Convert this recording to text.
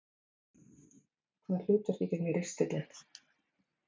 Hvaða hlutverki gegnir ristillinn?